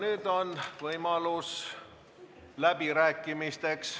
Nüüd on võimalus läbirääkimisteks.